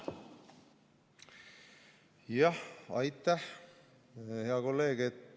Jah, aitäh, hea kolleeg!